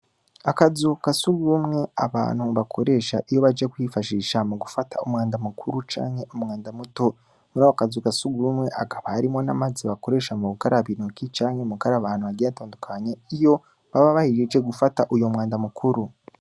Akazu ka sugumwe abantu bakoresha iyo baje kwifashisha mu gufata umwanda mukuru canke umwanda muto. Muri ako kazu ka sugumwe hakaba harimwo n'amazi bakoresha mu gukaraba intoki canke mu gukaraba ahantu hagiye hatandukanye, iyo baba bahejeje gufata uwo mwanda mukuru.